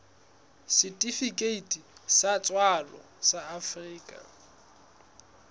setifikeiti sa tswalo sa afrika